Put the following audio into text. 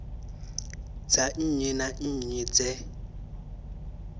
dza nnyi na nnyi dze